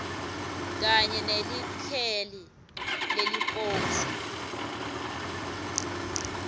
kanye nelikheli leliposi